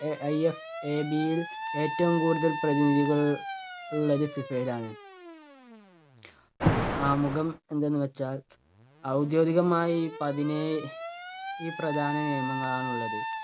A IFAB യിൽ ഏറ്റവും കൂടുതൽ പ്രതിനിധികൾ ഉള്ളത് ഫിഫയിലാണ്. ആമുഖം എന്തെന്നു വച്ചാൽ ഔദ്യോഗികമായി പതിനേ~ഴ് പ്രധാന നിയമങ്ങളാണുള്ളത്.